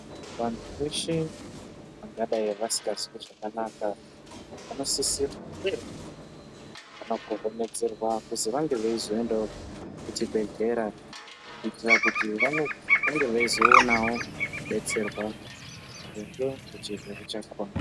Vantu veshe vangadai vasingazwi zvakanaka vanosisirwa huye vanokohomedzerwa kuzi vange veizoendawo kuchibhedhlera kuitira kuti vange veizoonawo kudetserwa maringe ngechirwere chakona.